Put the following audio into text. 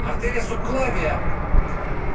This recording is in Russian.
артерия субклавия